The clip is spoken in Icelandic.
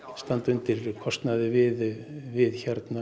standa undir kostnaði við við